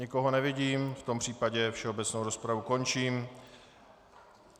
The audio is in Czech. Nikoho nevidím, v tom případě všeobecnou rozpravu končím.